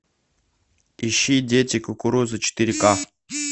ищи дети кукурузы четыре ка